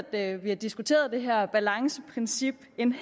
at vi har diskuteret det her balanceprincip en